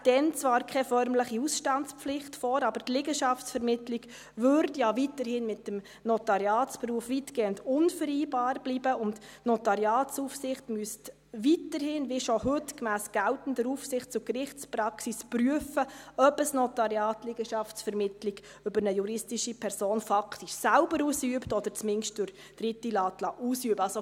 Es läge dann zwar keine formelle Ausstandspflicht vor, aber die Liegenschaftsvermittlung bliebe ja weiterhin weitgehend unvereinbar mit dem Notariatsberuf, und die Notariatsaufsicht müsste weiterhin, wie schon heute, gemäss geltender Aufsichts- und Gerichtspraxis, prüfen, ob ein Notariat Liegenschaftsvermittlung über eine juristische Person faktisch selber ausübt oder zumindest über Dritte ausüben lässt.